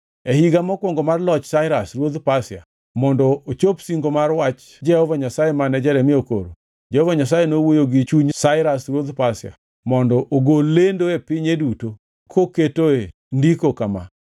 E higa mokwongo mar loch Sairas ruodh Pasia, mondo ochop singo mar wach Jehova Nyasaye mane Jeremia okoro, Jehova Nyasaye nowuoyo gi chuny Sairas ruodh Pasia mondo ogol lendo e pinye duto koketo e ndiko kama: